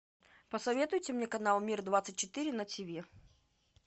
посоветуйте мне канал мир двадцать четыре на тв